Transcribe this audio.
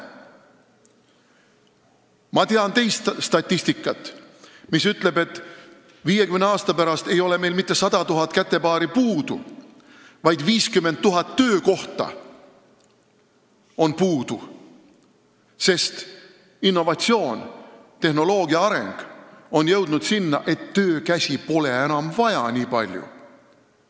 Ma tean teistsugust statistikat, mis ütleb, et 50 aasta pärast ei ole meil mitte 100 000 kätepaari puudu, vaid 50 000 töökohta on puudu, sest innovatsioonid ja tehnoloogia areng on viinud sinnani, et töökäsi pole enam nii palju vaja.